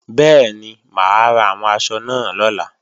Bẹ́ẹ̀ni, mà á ra àwọn aṣọ náà lọ́la